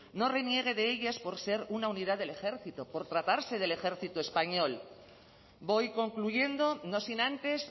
no reniegue de ellas por ser una unidad del ejército por tratarse del ejército español voy concluyendo no sin antes